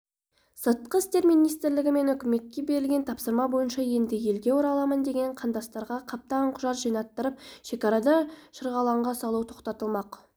сыртқы істер министрлігі мен үкіметке берілген тапсырма бойынша енді елге ораламын деген қандастарға қаптаған құжат жинаттырып шекарада шырғалаңға салу тоқтатылмақ